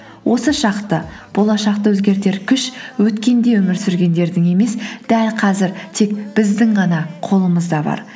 осы шақты болашақты өзгертер күш өткенде өмір сүргендердің емес дәл қазір тек біздің ғана қолымызда бар